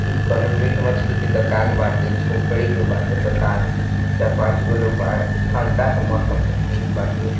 कोना मीट मछली की दुकान बाटे झोपडी के बाटे दुकान चार पंच गो लोग बाहर ठंडक मोसम का सिन बाटे|